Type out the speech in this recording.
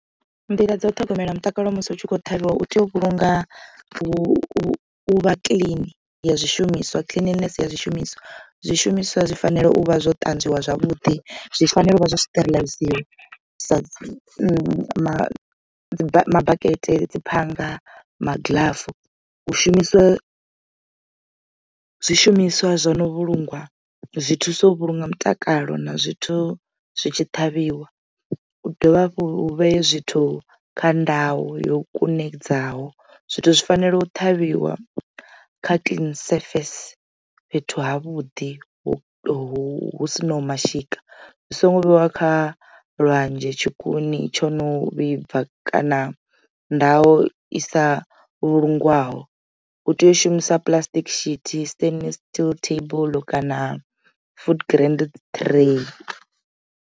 Nḓila dza u ṱhogomela mutakalo musi hu tshi kho ṱhavhiwa u tea u vhulunga u vha kilini ya zwishumiswa cleanness ya zwishumiswa. Zwishumiswa zwi fanela u vha zwo ṱanzwiwa zwavhuḓi zwi fanela u vha zwo sterilize sa mabakete dzi phanga magilafu u shumisa zwishumiswa zwo no vhulungwa zwi thusa u vhulunga mutakalo na zwithu zwi tshi ṱhavhiwa. U dovha hafhu u vhee zwithu kha ndau yo kunedzaho zwithu zwi fanela u ṱhavhiwa kha clean surface fhethu havhuḓi hu si naho mashika zwi songo vheiwa kha lwanzhe tshikuni tsho no vhibva kana ndao isa vhulungwaho u tea u shumisa puḽasitiki sithi, standard steel table kana food grand tray.